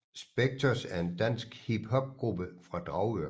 Specktors er en dansk hiphopgruppe fra Dragør